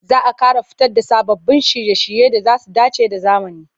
Za a ƙara fito da sababbin shirye-shirye da za su dace da zamani.